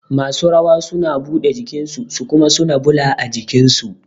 Masu rawa suna buɗe jikin su kuma suna ɓula jikin su